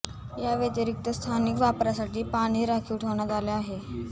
या व्यतिरिक्त स्थानिक वापरासाठी पाणी राखीव ठेवण्यात आले आहे